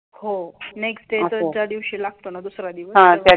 हो next day दुसऱ्या दिवशी लागतो ना दुसरा दिवस.